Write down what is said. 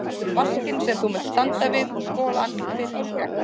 Vaskinn sem þú munt standa við og skola andlit þitt og skegg.